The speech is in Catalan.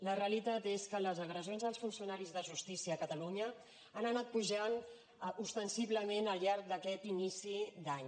la realitat és que les agressions als funcionaris de justícia a catalunya han anat pujant ostensiblement al llarg d’aquest inici d’any